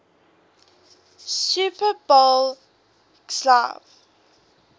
super bowl xliv